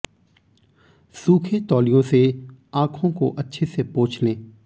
सूखे तौलिये से आंखों को अच्छे से पोछ लें